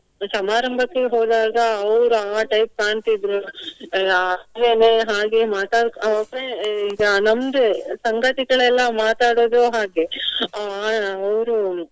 ಸಮಾರಂಭಕ್ಕೆ ಹೋದಾಗ ಅವ್ರು ಅಹ್ type ಕಾಣ್ತಿದ್ರು. ಅಹ್ ಆದ್ಮೇಲೆ ಹಾಗೆ ಮಾತಾಡ್~ ಈಗ ನಮ್ದೆ ಸಂಗತಿಗಳೆಲ್ಲ ಮಾತಾಡುವುದು ಹಾಗೆ. ಅಹ್ ಅವ್ರು